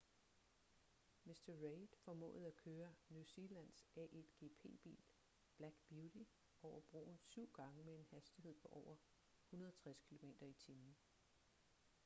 mr reid formåede at køre new zealands a1gp-bil black beauty over broen syv gange med en hastighed på over 160 km/t